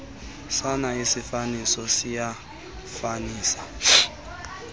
sona isiifaniso siyafanisa